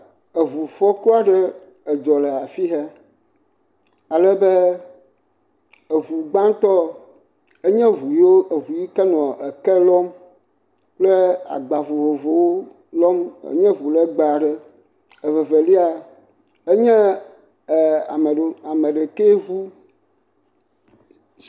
Eŋufɔku aɖe edzɔ le afi he. Alebe eŋu gbãtɔ enye eŋu yiwo eŋu yi ke nɔ eke lɔm kple agba vovovowo lɔm. Enye ŋu lɛgbɛɛ aɖe. Eve velia, enye ɛɛ ame ɖekeŋu.